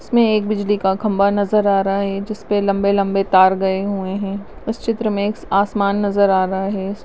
इसमें एक बिजली का खम्भा नजर आ रहा है जिसपे लम्बे लम्बे तार गए हुए है उस चित्र में आसमान नजर आ रहा है।